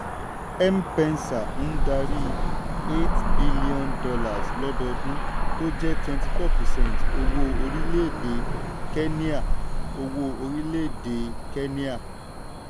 m-pesa ń darí $ eight b lọ́dọọdún tó jẹ́ twenty four percent owó orílẹ̀-èdè kéníà. owó orílẹ̀-èdè kéníà.